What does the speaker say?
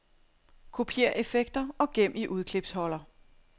Kopiér effekter og gem i udklipsholder.